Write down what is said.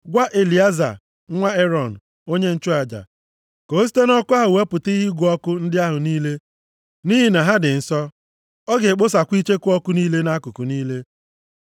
“Gwa Elieza nwa Erọn, onye nchụaja, ka o site nʼọkụ ahụ wepụta ihe ịgụ ọkụ ndị ahụ niile nʼihi na ha dị nsọ. Ọ ga-ekposakwa icheku ọkụ niile nʼakụkụ niile.